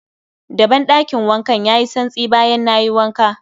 Daben ɗakin wankan yayi santsi bayan nayi wanka